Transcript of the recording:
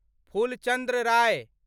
फूल चन्द्र राय